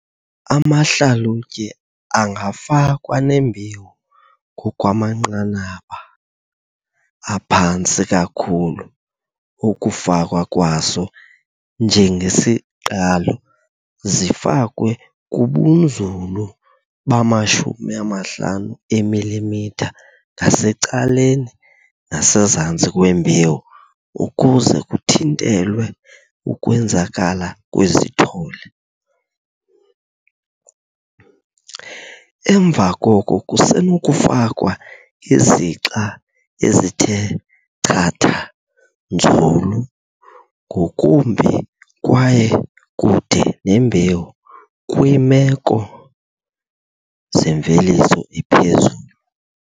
Amahlalutye angafakwa nembewu ngokwamanqanaba aphantsi kakhulu okufakwa kwaso "njengesiqalo" zifakwe kubunzulu bama-50 mm ngasecaleni nasezantsi kwembewu ukuze kuthintelwe ukwenzakala kwezithole. Emva koko kusenokufakwa izixa ezithe chatha nzulu ngokumbi kwaye kude nembewu kwiimeko zemveliso ephezulu.